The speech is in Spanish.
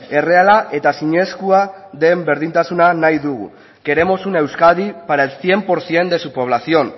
erreala eta zinezkoa den berdintasuna nahi dugu queremos una euskadi para el cien por ciento de su población